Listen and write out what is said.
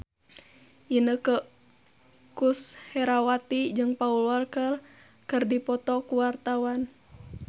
Inneke Koesherawati jeung Paul Walker keur dipoto ku wartawan